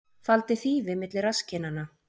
Faldi þýfi milli rasskinnanna